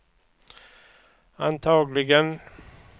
antagligen